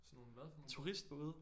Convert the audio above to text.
Sådan nogle hvad for nogle både?